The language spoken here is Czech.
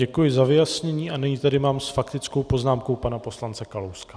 Děkuji za vyjasnění a nyní tady mám s faktickou poznámkou pana poslance Kalouska.